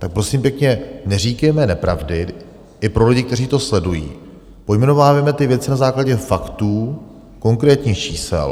Tak prosím pěkně, neříkejme nepravdy, i pro lidi, kteří to sledují, pojmenovávejme ty věci na základě faktů, konkrétních čísel.